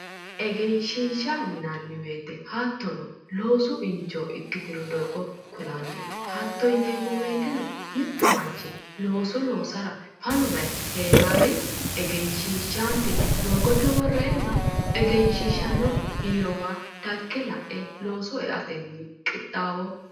Engeshiisha yineemmo woyite loosu injo ikkitino doogo kulanno. Hatto yineemmo woyiteno mittu manchi looso loosara fanu bayichi heera woy engessisate doogote worreenna engeshiishanno biirowa dagge la'e looso eatenni qixxaawo...